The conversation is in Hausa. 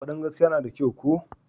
Fadin gaskiya na da kyau ko?